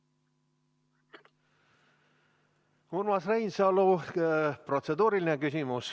Urmas Reinsalu, protseduuriline küsimus.